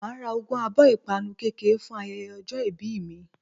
Màá a ra ogún abó 'ìpanu kékèké' fún ayeye ojó ibí mi